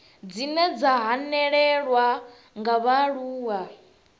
dzine dza hanelelwa nga vhaaluwa